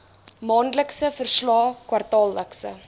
maandelikse verslae kwartaallikse